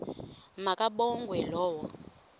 ma kabongwe low